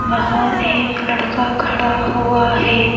बाहर एक लड़का खड़ा हुआ है।